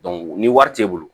ni wari t'e bolo